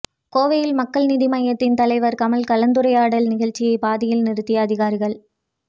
கோவையில் மக்கள் நீதி மய்யத்தின் தலைவர் கமல் கலந்துரையாடல் நிகழ்ச்சியை பாதியில் நிறுத்திய அதிகாரிகள்